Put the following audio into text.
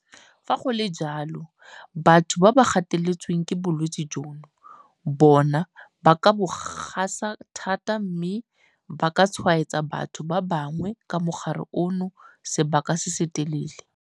Fa go le jalo, batho ba ba gateletsweng ke bolwetse jono bona ba ka bo gasa thata mme ba ka tshwaetsa batho ba bangwe ka mogare ono sebaka se se telele.